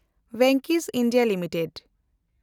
Venky's (India) limited